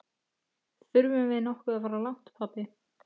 Þurfum við nokkuð að fara langt, pabbi?